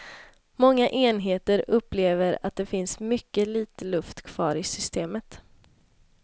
Många enheter upplever att det finns mycket litet luft kvar i systemet.